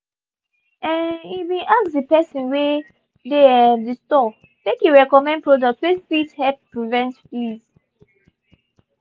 um he been ask the person wey dey um the store make e recommend products wey fit help prevent fleas.